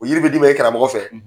O yiri be d'i ma i karamɔgɔ fɛ.